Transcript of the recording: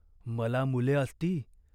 मला मुले असती,